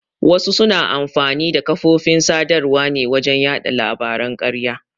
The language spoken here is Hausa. Wasu suna amfani da kafofin sadarwa ne wajen yaɗa labaran ƙarya.